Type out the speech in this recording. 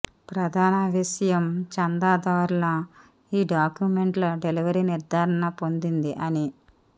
ప్రధాన విషయం చందాదారుల ఈ డాక్యుమెంట్ల డెలివరీ నిర్ధారణ పొందింది అని